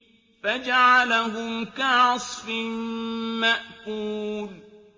فَجَعَلَهُمْ كَعَصْفٍ مَّأْكُولٍ